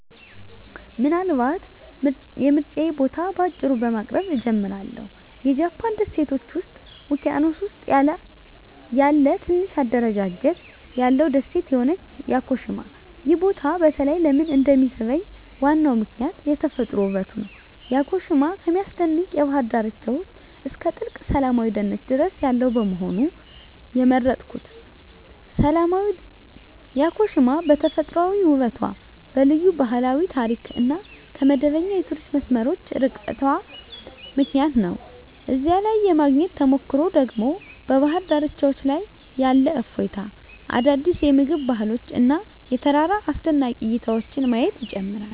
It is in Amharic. ምናልባት የምርጫዬን ቦታ በአጭሩ በማቅረብ እጀምራለሁ -የጃፓን ደሴቶች ውቅያኖስ ውስጥ ያለ ትንሽ አደረጃጀት ያለው ደሴት የሆነችው ያኮሺማ። ይህ ቦታ በተለይ ለምን እንደሚሳብኝ ዋናው ምክንያት የተፈጥሮ ውበቱ ነው። ያኮሺማ ከሚያስደንቅ የባህር ዳርቻዎች እስከ ጥልቅ ሰላማዊ ደኖች ድረስ ያለው በመሆኑ። የመረጥኩት ያኮሺማ በተፈጥሯዊ ውበቷ፣ በልዩ ባህላዊ ታሪክ እና ከመደበኛ የቱሪስት መስመሮች ርቃታ ምክንያት ነው። እዚያ ላይ የማግኘት ተሞክሮ ደግሞ በባህር ዳርቻዎች ላይ ያለ እፎይታ፣ አዳዲስ የምግብ ባህሎች እና የተራራ አስደናቂ እይታዎችን ማየት ይጨምራል።